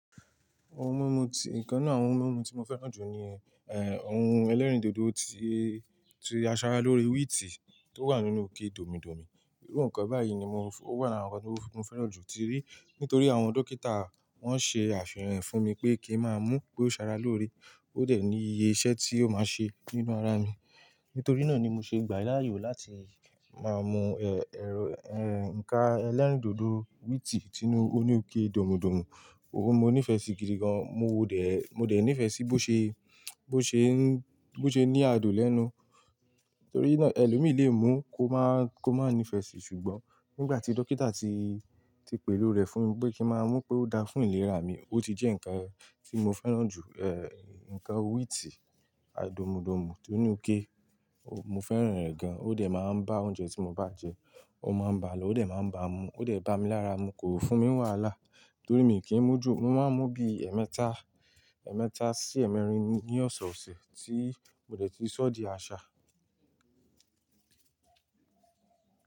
Ohun mímu tí-- nǹkan náà, àwọn ohun mímu tí mo fẹ́ràn jù ni, ẹ́, ohun ẹlẹ́rìndòdò tí, tí a sara lóore wíìtì tó wà nínú òkè dòmídòmí. Irú nǹkan báyìí ni mo fún-- ó wà lára nǹkan tó, mo fẹ́ràn jù tíí Nítorí àwọn dókítà wọ́n ṣe àfihàn fún mi pé kí n máa mú pé ó sara lóore, ó dẹ̀ ní iye iṣẹ́ tí yóò máa ṣe nínú ara mi. Nítorí náà ni mo ṣe gbà láàyò láti máa mú, ẹ, ẹrọ ẹ, nǹkan ẹlẹ́rìndòdò wíìtì sínú òní òkè dòmídòmí. Óun mo nífẹ̀ẹ́ sí gidi gan. Mo dẹ̀, mo dẹ̀ nífẹ̀ẹ́ sí bó ṣe, bó ṣe ń, bó ṣe ní adùn lẹ́nu. Torí náà ẹlòmíì lé mú kó máa, kó máa nífẹ̀ẹ́ sí. Ṣùgbọ́n nígbà tí dókítà ti, ti pè lóore fún mi pé kí máa mú pé ó dáa fún ìlera mi, ó ti jẹ́ nǹkan tí mo fẹ́ràn jù, ẹ́, nǹkan wíìtì dòmùdùmù tó ní òkè ó, mo fẹ́ràn rẹ̀ gan. Ó dẹ̀ máa ń bá oúnjẹ tí mo bá jẹ, ó máa ń bà á lọ́, ó dẹ̀ máa ń bá mu. Ó dẹ̀ bá mi lára mu, kò fún mi wàhálà. Torí mi kì í mú jù, mo máa ń mú bí ẹmẹ́ta, ẹ̀ẹ́mẹ́ta sí ẹ̀ẹ́mẹ́rin ní ọ̀sọ̀ọ̀sẹ̀ tí mo dẹ̀ ti sọ́ di àṣà.